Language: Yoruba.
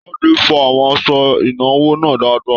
Tade fọ àwọn aṣọ ìnúwọ́ náà dáadáa.